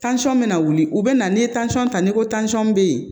Tansɔn bɛ na wuli u bɛ na n'i ye ta ni ko tansɔn bɛ yen